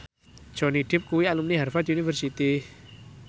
Johnny Depp kuwi alumni Harvard university